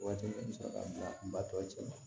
Waati musaka ba tɔ cɛman